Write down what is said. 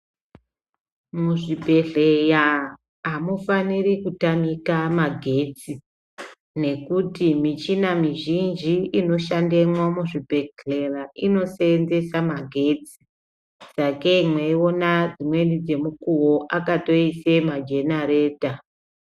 Muzvibhedhleya amufaniri kutamika magetsi nekuti michina mizhinji ino shandemwo mu zvibhedhlera ino senzesa magetsi sakei meiona dzimweni dze mukowo akatoise majenareta.